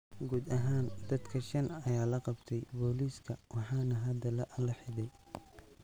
Guud ahaan dadka shan ayaa la qabay booliiska waxaana hada la xidhay.